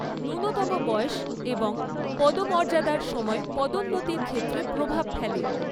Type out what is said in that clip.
ন্যূনতম বয়স এবং পদমর্যাদার সময় পদোন্নতির ক্ষেত্রে প্রভাব ফেলে।